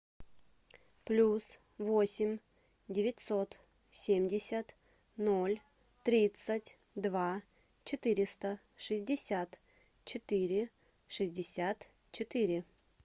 плюс восемь девятьсот семьдесят ноль тридцать два четыреста шестьдесят четыре шестьдесят четыре